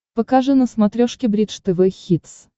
покажи на смотрешке бридж тв хитс